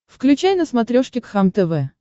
включай на смотрешке кхлм тв